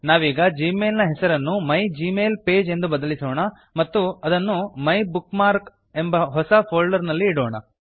ನಾವೀಗ ಜಿಮೇಲ್ ನ ಹೆಸರನ್ನು my Gmail page my Gmail page ಎಂದು ಬದಲಿಸೋಣ ಮತ್ತು ಇದನ್ನು ಮೈಬುಕ್ಮಾರ್ಕ್ ಮೈಬುಕ್ ಮಾರ್ಕ್ ಎಂಬ ಹೊಸ ಫೋಲ್ಡರ್ ನಲ್ಲಿ ಇಡೋಣ